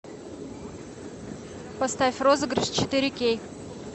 поставь розыгрыш четыре кей